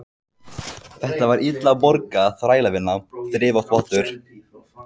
Þetta var illa borguð þrælavinna, þrif og þvottur.